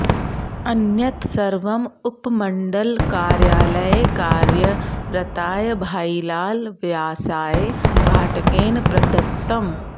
अन्यत् सर्वम् उपमण्डलकार्यालये कार्यरताय भाइलाल व्यासाय भाटकेन प्रदत्तम्